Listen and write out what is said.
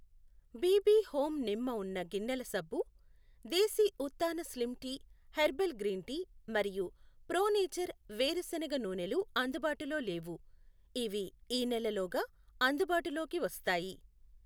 BB home నిమ్మ ఉన్న గిన్నెల సబ్బు, దేశీ ఉత్థాన slim tea herbal green tea మరియు ప్రో నేచర్ వేరుశనగ నూనె లు అందుబాటులో లేవు. ఇవి ఈ నెల లోగా అందుబాటులోకి వస్తాయి.